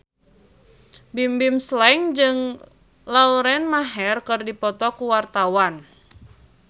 Bimbim Slank jeung Lauren Maher keur dipoto ku wartawan